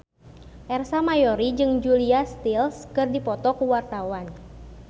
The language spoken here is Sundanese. Ersa Mayori jeung Julia Stiles keur dipoto ku wartawan